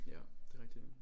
Ja det er rigtig nok